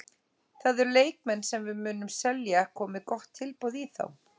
Það eru leikmenn sem við munum selja komi gott tilboð í þá.